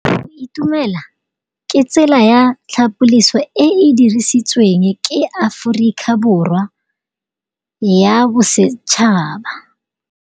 Go itumela ke tsela ya tlhapolisô e e dirisitsweng ke Aforika Borwa ya Bosetšhaba.